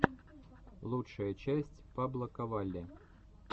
лучшая часть паблоковалли